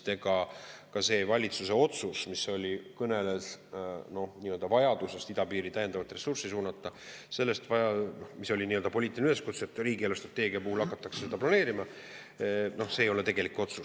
Ega see valitsuse otsus, mis kõneles vajadusest idapiiri täiendavat ressurssi suunata, mis oli nii-öelda poliitiline üleskutse, et riigi eelarvestrateegia puhul hakatakse seda planeerima, ei ole tegelik otsus.